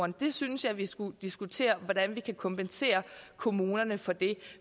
det synes jeg vi skulle diskutere hvordan vi kan kompensere kommunerne for det